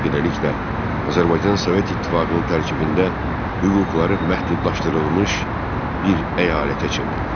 Beləliklə, Azərbaycan Sovet İttifaqının tərkibində hüquqları məhdudlaşdırılmış bir əyalətə çevrildi.